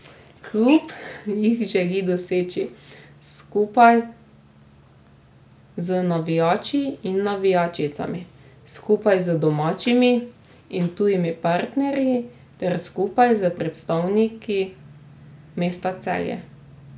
Klub jih želi doseči skupaj z navijači in navijačicami, skupaj z domačimi in tujimi partnerji ter skupaj s predstavniki mesta Celje.